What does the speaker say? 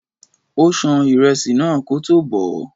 Ó ṣan ìrẹsì náà kótó bọ̀ọ́.